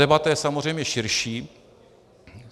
Debata je samozřejmě širší.